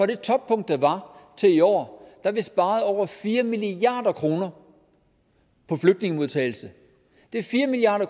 det toppunkt der var til i år har vi sparet over fire milliard kroner på flygtningemodtagelse det er fire milliard